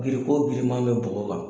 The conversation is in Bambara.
Biriko giriman bɛ bɔgɔ kan